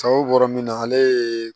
Sawo bɔra min na ale ye